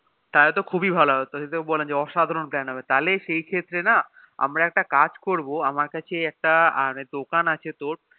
তাহলে তো খুব ভালো হয়ে খুব অসাধারণ Plan হবে তাহলে সেই ক্ষেত্রে না আমার কাছে একটা কাজ করবো আমার কাছে একটা দোকান আছে তোর